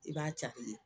I b'a